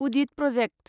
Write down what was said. उदिद project